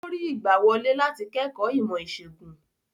Ó rí ìgbàwọlé láti kẹ́kọ̀ọ́ ìmọ̀-ìṣègùn?